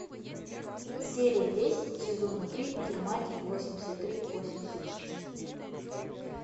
серия десять сезона три германия восемьдесят три восемьдесят шесть